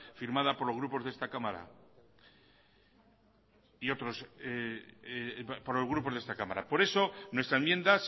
firmada por los grupos de esta cámara por eso nuestra enmienda